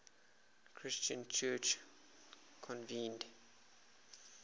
christian church convened